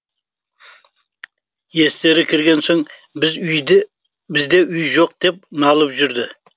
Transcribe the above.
естері кірген соң бізде үй жоқ деп налып жүрді